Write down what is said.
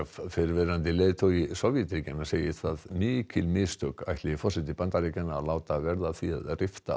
fyrrverandi leiðtogi Sovétríkjanna segir það mikil mistök ætli forseti Bandaríkjanna að láta verða að því að rifta